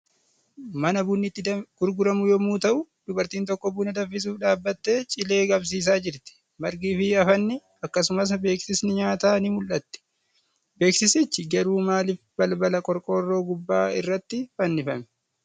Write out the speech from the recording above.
Mana bunni itti gurguramu yommuu ta'u, dubartiin tokko buna danfisuuf dhaabbattee cilee qabsiisaa jirti. Margii fi afanni, akkasumas beeksisni nyaataa ni mul'atti. Beeksisichi garuu maalif balbala qorqoorroo gubbaa irratti fannifame?